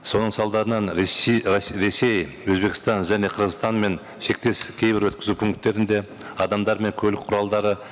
соның салдарынан ресей өзбекстан және қырғызстан мен шектес кейбір өткізу пункттерінде адамдар мен көлік құралдары